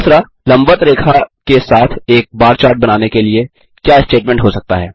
लम्बवत रेखा के साथ एक बार चार्ट बनाने के लिए क्या स्टेटमेंट हो सकता है